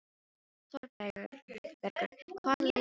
Þórbergur, hvaða leikir eru í kvöld?